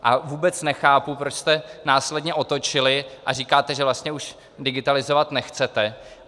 A vůbec nechápu, proč jste následně otočili a říkáte, že vlastně už digitalizovat nechcete.